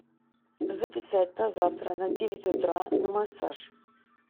записать на завтра на девять утра на массаж